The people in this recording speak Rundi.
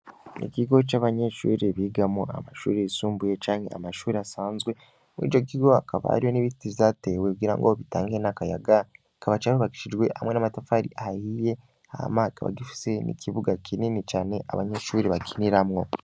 Ikigo c’abanyeshure bigamwo amashure yisumbuye canke amashure asanzwe, muri ico kigo hakaba hariho n'ibiti vyatewe kugira ngo bitange n’akayaga, kikaba carubakishijwe hamwe n’amatafari ahiye, hama kikaba gifise n’ikibuga kinini cane abanyeshure bakiniramwo.